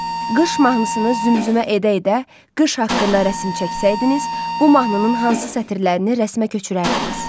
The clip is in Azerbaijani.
Qış mahnısını zümzümə edə-edə qış haqqında rəsm çəksəydiniz, bu mahnının hansı sətirlərini rəsmə köçürərdiniz?